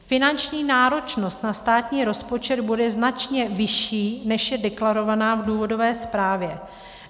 Finanční náročnost na státní rozpočet bude značně vyšší, než je deklarovaná v důvodové zprávě.